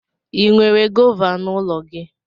Ị nwere gọva n'ụlọ gị?